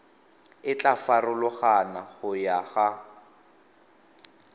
e tla farologana go ya